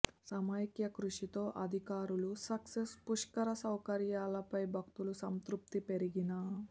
సమైక్య కృషితో అధికారులు సక్సెస్ పుష్కర సౌకర్యాలపై భక్తుల సంతృప్తి పెరిగిన